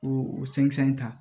O o ta